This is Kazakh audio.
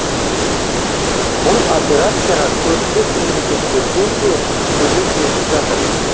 бұл операцияға көршілес мемлекеттерден де көмек жетіп жатыр